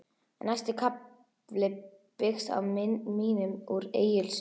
Næsti kafli byggðist á minnum úr Egils sögu.